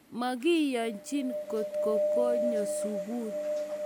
makiyonchi kotu kunyo sukul